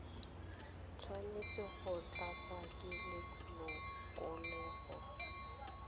tshwanetse go tlatswa ke lelokolegolo